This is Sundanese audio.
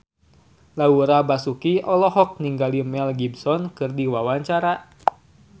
Laura Basuki olohok ningali Mel Gibson keur diwawancara